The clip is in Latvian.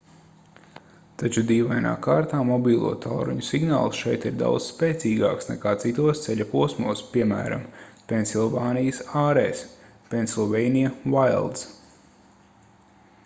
taču dīvainā kārtā mobilo tālruņu signāls šeit ir daudz spēcīgāks nekā citos ceļa posmos piemēram pensilvānijas ārēs pennsylvania wilds